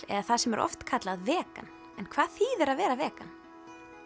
eða það sem er oft kallað vegan en hvað þýðir að vera vegan